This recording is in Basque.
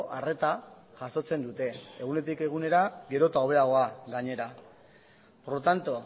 arreta jasotzen dute egunetik egunera gero eta hobeagoa gainera por lo tanto